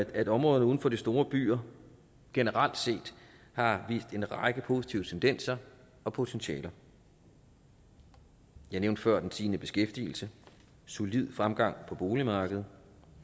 at områderne uden for de store byer generelt set har vist en række positive tendenser og potentialer jeg nævnte før den stigende beskæftigelse og solide fremgang på boligmarkedet